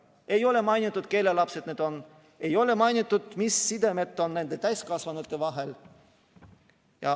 Ei ole mainitud, kelle lapsed need on, ei ole mainitud, mis sidemed on nende täiskasvanute vahel.